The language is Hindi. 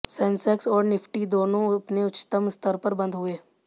सेंसेक्स और निफ्टी दोनों अपने उच्चतम स्तर पर बंद हुए